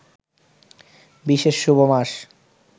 বিশেষ শুভ মাস